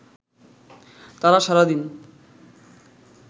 তারা সারাদিন